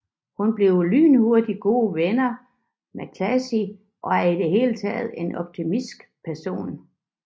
Hun bliver lynhurtigt gode venner med Cassie og er i det hele taget en optimistisk person